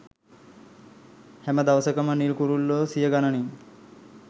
හැම දවසකම නිල් කුරුල්ලෝ සියගණනින්